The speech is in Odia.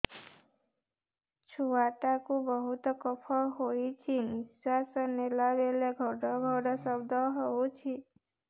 ଛୁଆ ଟା କୁ ବହୁତ କଫ ହୋଇଛି ନିଶ୍ୱାସ ନେଲା ବେଳେ ଘଡ ଘଡ ଶବ୍ଦ ହଉଛି